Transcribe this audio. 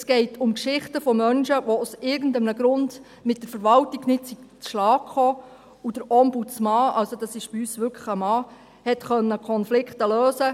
Es geht um Geschichten von Menschen, die aus irgendeinem Grund mit der Verwaltung nicht zurechtgekommen sind, und der Ombudsmann – das ist bei uns wirklich ein Mann – konnte Konflikte lösen.